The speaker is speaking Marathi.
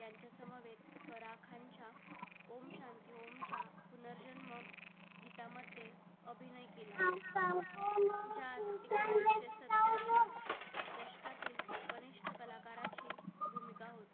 ओम शांती ओम च्या पुनर्जन्म गीता मध्ये अभिनय केला दशकातील वरिष्ठ कलाकाराचा मुलगा होता